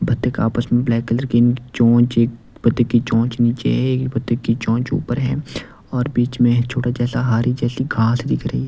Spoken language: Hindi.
बत्तिक आपस में ब्लैक कलर की चौच एक बतख की चौच नीचे है एक भत्तक की चौच ऊपर है और बीच में छोटा जैसा हारी जैसी घास दिख रही--